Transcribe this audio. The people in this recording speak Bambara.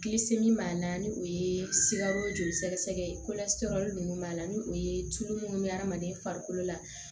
b'a la ni o ye sikaro joli sɛgɛsɛgɛ ye nunnu b'a la ni o ye tulu munnu bɛ hadamaden farikolo la